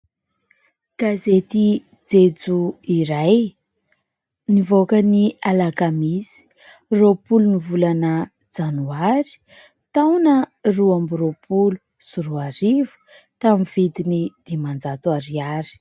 Gazety jejo iray nivoaka ny alakamisy roapolo ny volana janoary taona roa ambiny roapolo sy roa arivo tamin'ny vidiny dimanjato ariary.